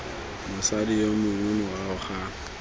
mosadi yo mongwe morago ga